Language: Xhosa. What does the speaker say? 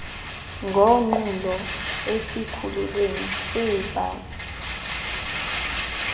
ngonqulo esikhululweni seebhasi